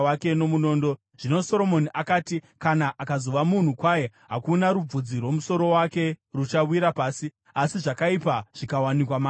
Zvino Soromoni akati, “Kana akazova munhu kwaye, hakuna rubvudzi rwomusoro wake ruchawira pasi; asi zvakaipa zvikawanikwa maari, achafa.”